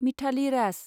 Mithali Raj